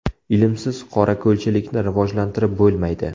Ilmsiz qorako‘lchilikni rivojlantirib bo‘lmaydi.